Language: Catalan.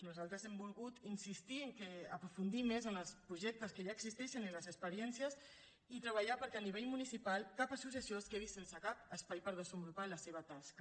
nosaltres hem volgut insistir en aprofundir més en els projectes que ja existeixen i en les experiències i treballar perquè a nivell municipal cap associació es quedi sense cap espai per desenvolupar la seva tasca